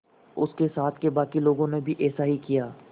उसके साथ के बाकी लोगों ने भी ऐसा ही किया